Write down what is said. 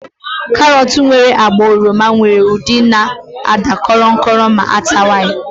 Karọt nwere agba oroma nwere udidi na àda korom korom ma atawa ya.